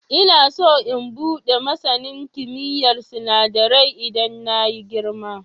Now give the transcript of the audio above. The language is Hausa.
Ina so in buɗe masanin kimiyyar sinadarai idan na yi girima.